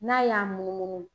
N'a y'a munumunu.